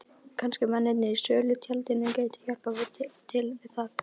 Kannski mennirnir í sölutjaldinu gætu hjálpað til við það.